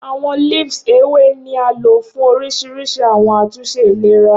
Awọn leaves Ewe ni a lo fun orisirisi awọn atunṣe ilera.